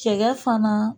Cɛkɛ fana